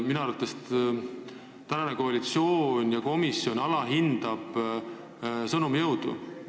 Minu arvates alahindavad koalitsioon ja komisjon sõnumi jõudu.